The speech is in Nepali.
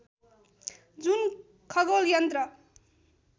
जुन खगोल यन्त्र